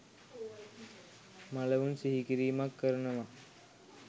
මළවුන් සිහිකිරීමක් කරනවා.